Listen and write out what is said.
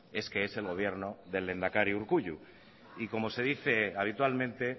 es que es el gobierno del lehendakari urkullu y como se dice habitualmente